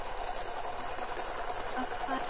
Hún virðist vera búin að fá nóg af París.